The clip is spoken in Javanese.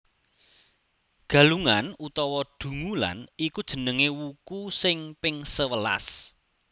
Galungan utawa Dungulan iku jenenge wuku sing ping sewelas